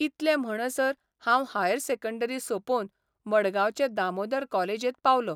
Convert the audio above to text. इतले म्हणसर हांव हायर सेकंडरी सोंपोवन मडगांवचे दामोदर कॉलेजत पावलों.